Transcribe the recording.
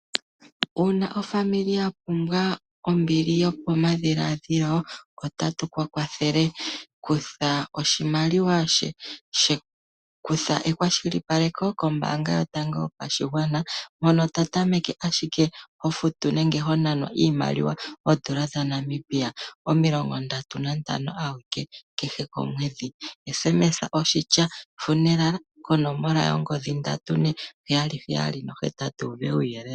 Uuna aakwanezimo ya pumbwa ombili yopamadhiladhilo otatu yi kwathele. Kutha ekwashilipaleko kombaanga yotango yopashigwana hono to tameke ashike ho futu nenge ho nanwa iimaliwa ooN$ 35 adhike kehe komwedhi. Tuma okatumwalaka: "efumviko" ko 34778 wu pewe uuyelele.